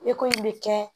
Eko in bɛ kɛ